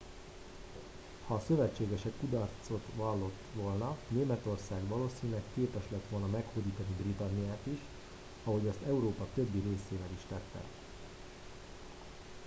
ha a szövetségesek kudarcot vallott volna németország valószínűleg képes lett volna meghódítani britanniát is ahogy azt európa többi részével is tette